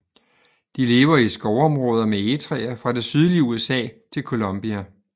De lever i skovområder med egetræer fra det sydlige USA til Colombia